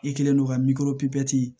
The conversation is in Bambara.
I kɛlen don ka miirinw pipiniyɛri